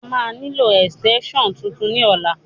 A máa nílò ẹ̀sìtẹ́ńṣọ̀n tuntun ní ọ̀la